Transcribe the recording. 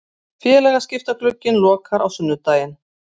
Félagaskiptaglugginn lokar á sunnudag.